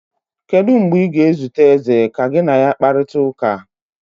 Kedu mgbe ị ga-ezute eze ka gị na ya kparịta ụka